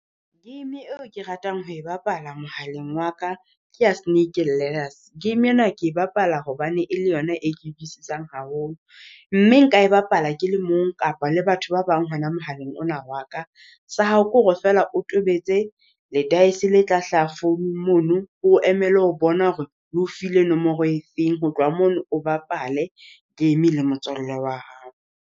Game eo ke ratang ho e bapala mohaleng wa ka kea snake ladders. Game ena ke e bapala hobane e le yona e ke haholo, mme nka e bapala ke le mong kapa le batho ba bang hona mohaleng ona wa ka. Sa hao ke hore feela o tobetse le-dice le tla hlaha phone-ung mono, o emele ho bona hore le o file nomoro efeng, ho tloha mono o bapale game le motswalle wa hao.